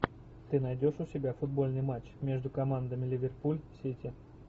ты найдешь у себя футбольный матч между командами ливерпуль сити